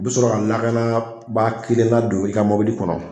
U bɛ sɔrɔ ka lakanabaa kelen ladon i ka mɔbili kɔnɔ